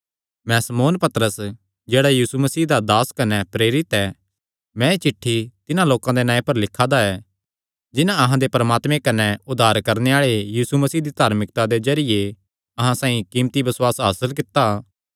मैं शमौन पतरस जेह्ड़ा यीशु मसीह दा दास कने प्रेरित ऐ मैं एह़ चिठ्ठी तिन्हां लोकां दे नांऐ पर लिखा दा ऐ जिन्हां अहां दे परमात्मे कने उद्धार करणे आल़े यीशु मसीह दी धार्मिकता दे जरिये अहां साइआं कीमती बसुआस हासल कित्या ऐ